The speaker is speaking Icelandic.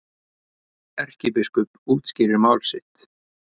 Erkibiskup útskýrir mál sitt